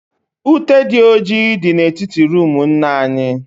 Ute dị ọjị dị na etiti roomu nna anyị